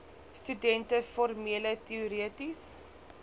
studente formele teoretiese